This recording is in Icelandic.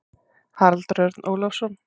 Haraldur Örn Ólafsson.